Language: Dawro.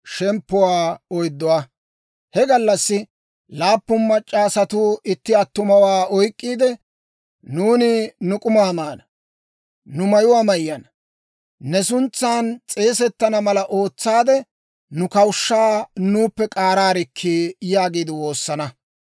He gallassi laappun mac'c'a asatuu itti attumawaa oyk'k'iide, «Nuuni nu k'umaa maana; nu mayuwaa mayyana; ne suntsan s'eesetana mala ootsaadde nu kawushshaa nuuppe k'aaraarikkii» yaagiide woosana.